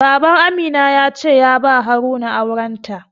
Baban Amina ya ce ya ba Haruna auren ta.